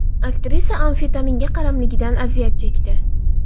Aktrisa amfetaminga qaramlikdan aziyat chekdi.